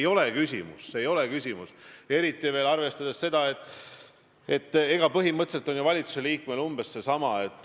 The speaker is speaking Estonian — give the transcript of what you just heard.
Jah, ma kuulasin kahe esimese küsimuse puhul tekkinud debatti ja mul tekkis mulje, et ma olen kuskil videvikutsoonis, kus on ajaauk.